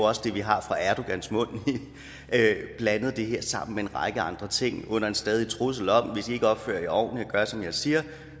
også det vi har fra erdogans mund blandet det her sammen med en række andre ting under en stadig trussel om at hvis i ikke opfører ordentligt og gør som jeg siger